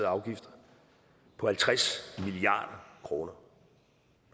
afgifter på halvtreds milliard kroner